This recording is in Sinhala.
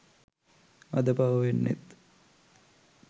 අද පව වෙන්නෙත්